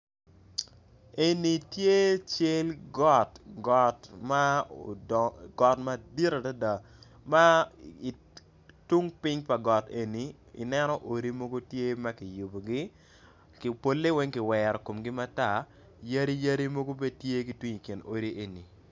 Eni tye cal got got madit adada ma tung ping ma got eni ineno odi mogo tye makiyubogi pole weng kiwero komgi matar yadi yadi mogo bene tye kitwi i kom yadi enini.